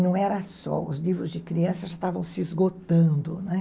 Não era só, os livros de crianças já estavam se esgotando, né?